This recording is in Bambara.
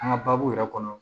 An ka baabu yɛrɛ kɔnɔ